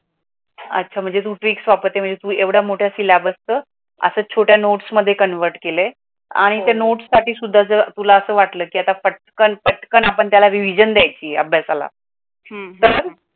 अच्छा म्हणजे तू ट्रिक्स वापरतेस, महणजे तू एवड्या मोठ्या सीलेबसच असया छोट्या नोट्स मध्ये कनव्हर्ट केले अणी ती नोट्स साठी सुद्धा अस वाटल की आता पटकन, पटकन रिव्हिजन दयायची अभ्यासाला तर